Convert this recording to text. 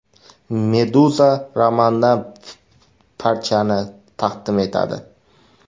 Meduza romandan parchani taqdim etadi.